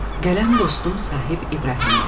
Qələm dostum Sahib İbrahimliyə.